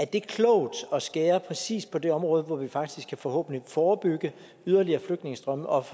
det er klogt at skære præcist på det område hvor vi faktisk forhåbentlig forebygge yderligere flygtningestrømme og